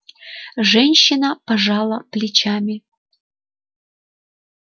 женщина пожала плечами